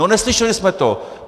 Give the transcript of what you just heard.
- No neslyšeli jsme to.